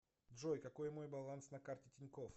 джой какой мой баланс на карте тинькофф